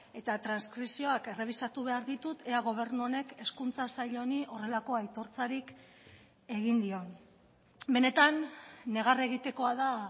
eta transkripzioak errebisatu behar ditut ea gobernu honek hezkuntza sail honi horrelako aitortzarik egin dion benetan negar egitekoa da